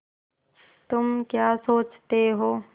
तुम क्या सोचते हो